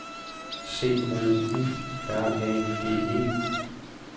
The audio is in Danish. C O U R A G E